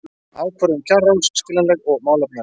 Ákvörðun kjararáðs skiljanleg og málefnaleg